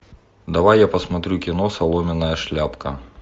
давай я посмотрю кино соломенная шляпка